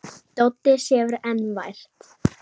Doddi sefur enn vært.